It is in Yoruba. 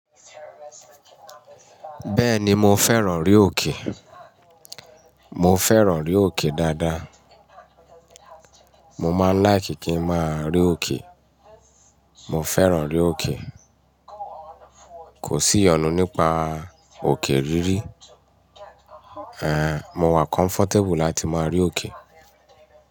Bẹ́ẹ̀ni mo fẹ́ràn orí òkè. Mo fẹ́ràn rí òkè dáadáa. Mo máa ń láìkì kí ń máa rí òkè. Mo fẹ́ràn rí òkè. Kò sí ìyọnu nípa òkè rírí. Ehn, mo wà comfortable láti máa rí òkè.